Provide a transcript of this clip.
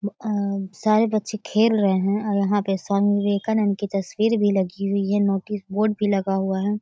अ सारे बच्चे खेल रहे हैं यहाँ पे स्वामी विवेकानंद की तस्वीर भी लगी हुई है नोटिस बोर्ड भी लगा हुआ है।